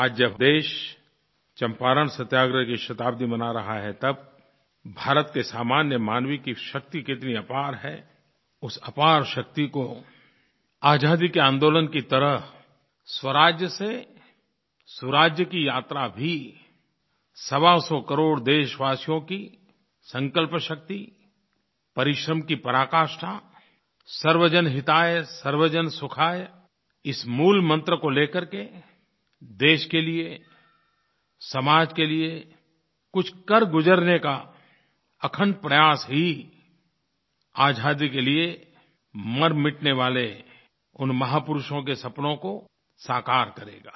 आज जब देश चंपारण सत्याग्रह की शताब्दी मना रहा है तब भारत के सामान्य मानव की शक्ति कितनी अपार है उस अपार शक्ति को आज़ादी के आन्दोलन की तरह स्वराज से सुराज की यात्रा भी सवासौ करोड़ देशवासियों की संकल्प शक्ति परिश्रम की पराकाष्ठा सर्वजन हिताय सर्वजन सुखाय इस मूल मन्त्र को ले करके देश के लिये समाज के लिये कुछ करगुज़रने का अखंड प्रयास ही आज़ादी के लिये मरमिटने वाले उन महापुरुषों के सपनों को साकार करेगा